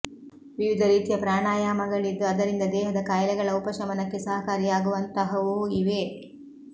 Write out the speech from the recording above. ವಿವಿಧ ರೀತಿಯ ಪ್ರಾಣಾಯಾಮಗಳಿದ್ದು ಅದರಿಂದ ದೇಹದ ಕಾಯಿಲೆಗಳ ಉಪಶಮನಕ್ಕೆ ಸಹಕಾರಿಯಾಗುವಂತಹವೂ ಇವೆ